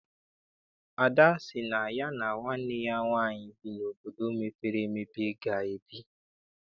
Ada sị na ya na nwanne ya nwaanyị bi n'obodo mepere emepe ga ebi.